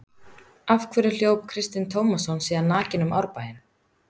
Af hverju hljóp Kristinn Tómasson síðan nakinn um Árbæinn?